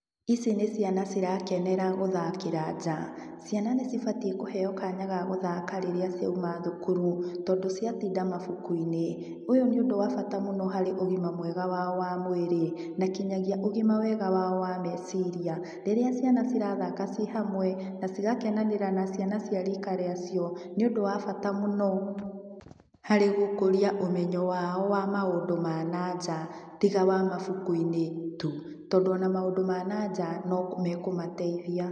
Ici nĩ ciana cirakenera gũthakĩra nja. Ciana nĩcibatiĩ kũheo kanya ga gũthaka rĩrĩa ciauma thukuru, tondũ ciatinda mabuku-inĩ. Ũyũ nĩ ũndũ wa bata mũno harĩ ũgima mwega wao wa mwĩrĩ, na nginyagia ũgima wega wao wa meciria. Rĩrĩa ciana cirathaka ci hamwe, na cigakenanĩra na ciana cia rika rĩa cio, nĩ ũndũ wa bata mũno harĩ gũkũria ũmenyo wao wa maũndũ ma nanja, tiga wa mabuku-inĩ tu. Tondũ ona maũndũ ma nanja nĩ mekũmateithia.